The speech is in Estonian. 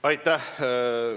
Aitäh!